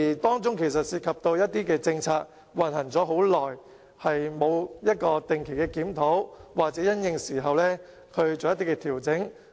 當中涉及到一些實行已久的政策缺乏定期檢討，又或沒有因應變化而作出調整。